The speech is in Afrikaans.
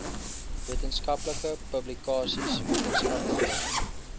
wetenskaplike publikasies wetenskaplike